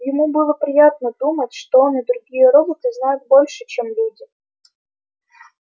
ему было приятно думать что он и другие роботы знают больше чем люди